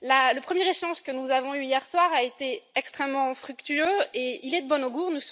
Le premier échange que nous avons eu hier soir a été extrêmement fructueux et il est de bon augure